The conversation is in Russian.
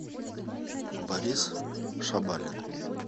борис шабалин